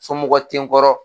Somɔgɔw te n kɔrɔ